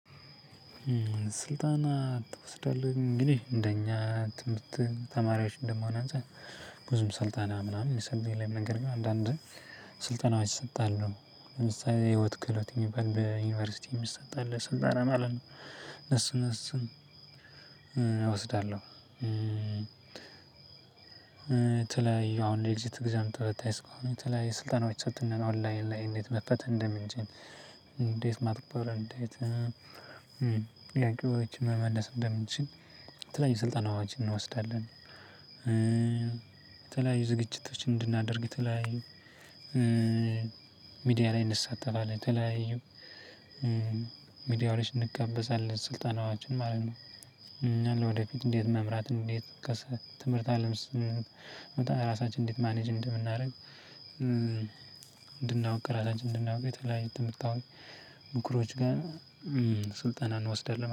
ስልጣና ትወስዳለህ እንግዲህ እንደኛ ትምህርት ተማሪዎች እንደመሆን አንፃር ብዙም ስልጣን ምናምን ስልጣን ላይ መንገድ ግን አንዳንድ ስልጣኖች እሰጣለሁ የህይወት ክህሎት የሚበል ዩኒቨርሲቲ የሚሰጣል ስልጣን አለ ነው እነሱን እነሱን እወስዳለሁ። የተለያዪ አሁን ላይ ኤግዚት ኤግዛም ተፈታኝ ስለሆንን የተለያዬ ስልጠናዎች ተሰጥቶናል ኦንላይን ላይ እንዴት መፈተን እንደምን እንችል? እንዴት ማተኮር እንዴት ጥያቄዎችን መመለስ እንደምንችል? የተለያዩ ስልጠና ዋች እንወስዳለን። የተለያዩ ዝግጅቶችን እንድናደርግ ተለያዩ ሚዲያ ላይ እንሳተፋለን። የተለያዩ ሚዲያዎች እንጋበዛለን ስልጣናዋችን ማለት ነው። እና ወደፊት እንዴት መምራት እንዴት ትምህርት አለም ስንመጣ ራሳችን እንዴት ማኔጅ እንደምናደርግ። ቅራታችን እንድናውቅ ትምህርት ታውቂ ብኩሮች ጋር ስልጠናን እንወስዳለን